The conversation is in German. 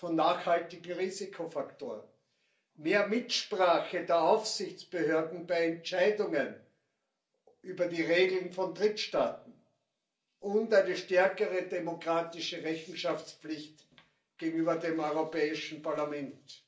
von nachhaltigen Risikofaktoren, mehr Mitsprache der Aufsichtsbehörden bei Entscheidungen über die Regeln von Drittstaaten und eine stärkere demokratische Rechenschaftspflicht gegenüber dem Europäischen Parlament.